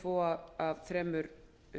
yfirtaki tvo af þremur